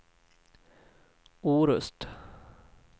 Orust